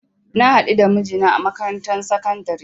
Na hadu da mijina a makarantar sakandare